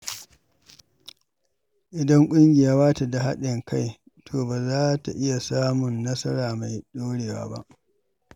Idan ƙungiya bata da haɗin kai, to ba za ta iya samun nasara mai ɗorewa ba.